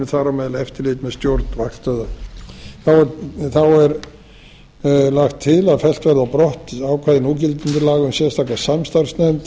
meðal eftirlit með stjórn vaktstöðva þá er lagt til að fellt verði á brott ákvæði núgildandi laga um sérstaka samstarfsnefnd